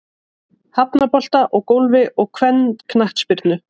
Hafnabolta og Golfi og kvennaknattspyrnu.